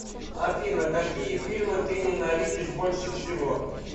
афина какие фильмы ты ненавидишь больше всего